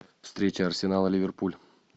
встреча арсенал ливерпуль